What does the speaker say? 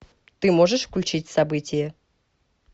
ты можешь включить событие